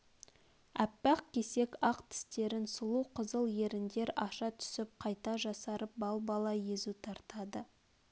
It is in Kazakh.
аппақ кесек ақ тістерн сұлу қызыл ерндер аша түсіп қайта жасарып балбала езу тартады